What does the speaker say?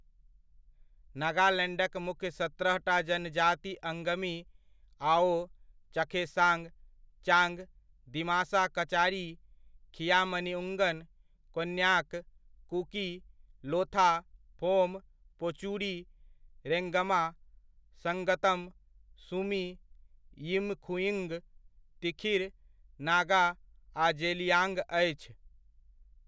नगालैण्डक मुख्य सत्रहटा जनजाति अङ्गमी, आओ, चखेसाङ्ग, चाङ्ग, दिमासा कचारी, खिआमनिउङ्गन, कोन्याक, कुकी, लोथा, फोम, पोचुरी, रेङ्गमा, सङ्गतम, सुमी, यिमखिउङ्ग, तिखिर नागा आ जेलियाङ्ग अछि।